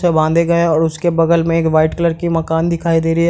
बांधे गए हैं और उसके बगल में एक वाइट कलर की मकान दिखाई दे रही है।